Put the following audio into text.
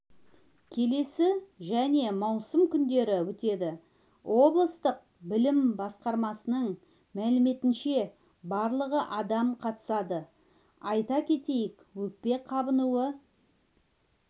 келесі және маусым күндері өтеді облыстық білім басқармасының мәліметінше барлығы адам қатысады айта кетейік өкпе қабынуы